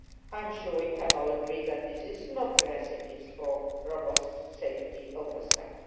I am sure we can all agree that this is not a recipe for robust safety oversight.